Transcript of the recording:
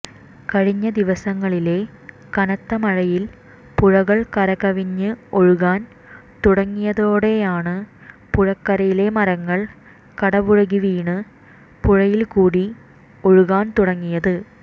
കഴിഞ്ഞദിവസങ്ങളിലെ കനത്തമഴയിൽ പുഴകൾ കരകവിഞ്ഞ് ഒഴുകാൻ തുടങ്ങിയതോടെയാണ് പുഴക്കരയിലെ മരങ്ങൾ കടപുഴകി വീണ് പുഴയിൽക്കൂടി ഒഴുകാൻ തുടങ്ങിയത്